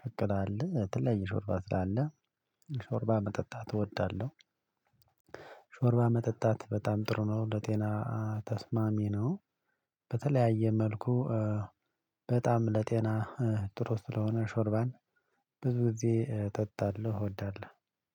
ቅቅላ አለ። የተለያየ ሾርባ ስላለ ሾርባ መጠጣት እወዳለሁ። ሾርባ መጠጣት በጣም ጥሩ ነው ለጤና ተስማሚ ነው። በተለያየ መልኩ በጣም ለጤና ጥሩ ስለሆነ ሾርባን ብዙ ጊዜ እጠጣለሁ እወዳለሁ።